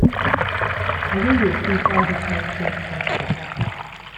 I just dey tink how di fight take start for office.